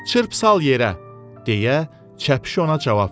Çırp sal yerə, deyə çəpiş ona cavab verdi.